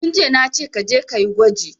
Tun jiya nace kaje kayi gwaji